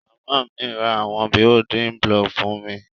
Màmá mi ra àwon building block fun mi